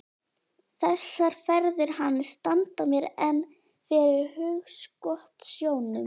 Þessar ferðir hans standa mér enn fyrir hugskotssjónum.